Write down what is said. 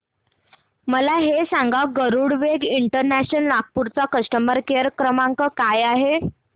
मला हे सांग गरुडवेग इंटरनॅशनल नागपूर चा कस्टमर केअर क्रमांक काय आहे